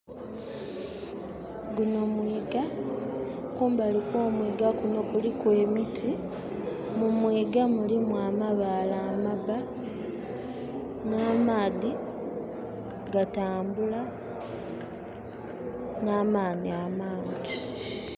Guno mwiga. Kumbali kwo mwiga gunno kuliku emiti. Mu mwiga mulimu amabale amabba na maadhi gatambula namaani amangi